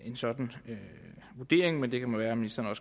en sådan vurdering men det kan jo være at ministeren